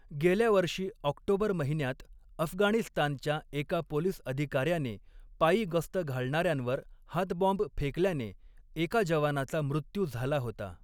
गेल्यावर्षी ऑक्टोबर महिन्यात अफगाणिस्तानच्या एका पोलीस अधिकाऱ्याने पायी गस्त घालणाऱ्यांवर हातबॉम्ब फेकल्याने एका जवानाचा मृत्यू झाला होता.